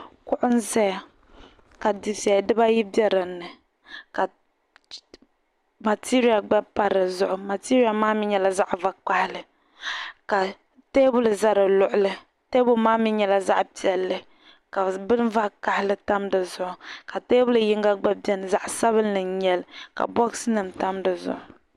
Kuɣu n ʒɛya ka dufɛli dibaayi bɛ dinni ka matirial gba pa di zuɣu matiriyal maa mii nyɛla zaɣ' vakaɣili ka teebuli ʒɛ di luɣuli teebuli maa mii nyɛlazaɣ' piɛlli ka bini vakaɣili tam di zuɣu ka teebuya yinga gba biɛni zaɣ' sabinli n nyɛli ka bogsi yinga tam di zuɣu